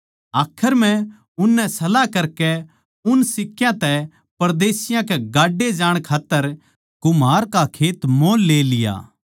आखर म्ह उननै सलाह करकै उन सिक्कयां तै परदेशियाँ के गाड्डे जाणकै खात्तर कुम्हार का खेत मोल ले लिया